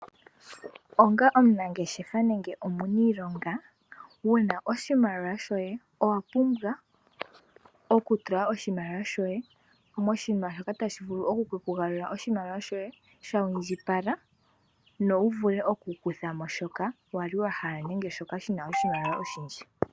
Onga omunangeshefa nenge omuniilonga wuna oshimaliwa shoye, owa pumbwa oku tula oshimaliwa shoye moshinima shoka tashi vulu okuku galulila oshimaliwa shoye sha indjipala, no wu vule oku kuthamo shoka wali wahala nenge shoka shina oshimaliwa oshindji.